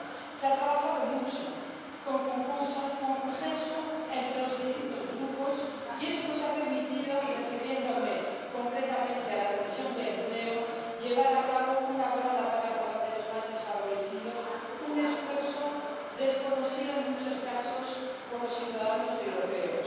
Se ha trabajado mucho, con consenso entre los distintos grupos, y eso nos ha permitido —y refiriéndome concretamente a la Comisión de Empleo— llevar a cabo una gran labor a favor de los más desfavorecidos, un esfuerzo desconocido en muchos casos por los ciudadanos europeos.